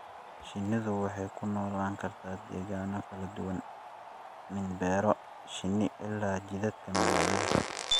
Shinnidu waxay ku noolaan kartaa degaano kala duwan, min beero shinni ilaa jidadka magaalada.